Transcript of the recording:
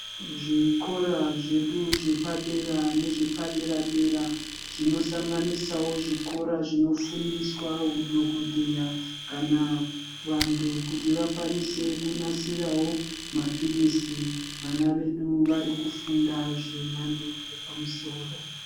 Zvikora zvedu zvepadera nezvepadera -dera zvinosanganisawo zvikora zvinofundiswa hudhokodheya kana kuti vantu vakwanise kunasirawo maphilizi .Vana vedu vari kufunda zvemhando yepamusoro.